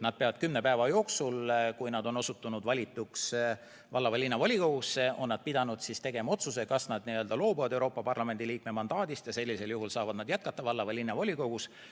Nad peavad kümne päeva jooksul, kui nad on osutunud valituks valla- või linnavolikogusse, tegema otsuse, kas nad loobuvad Euroopa Parlamendi liikme mandaadist, ja sellisel juhul saavad nad jätkata tööd valla- või linnavolikogus.